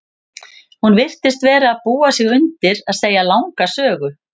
Hún virtist vera að búa sig undir að segja langa sögu.